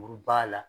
Muru b'a la